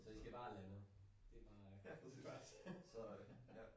Så i skal bare have landet det bare det første